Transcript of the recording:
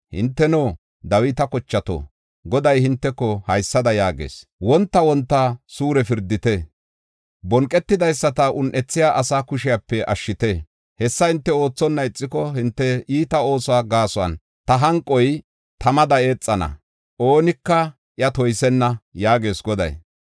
Hinteno, Dawita kochato, Goday hinteko haysada yaagees; “Wonta wonta suure pirdite; bonqetidaysata un7ethiya asaa kushepe ashshite. Hessa hinte oothonna ixiko, hinte iita oosuwa gaason ta hanqoy tamada eexana; oonika iya toysenna” yaagees Goday.